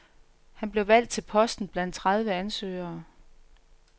Han blev valgt til posten blandt tredive ansøgere.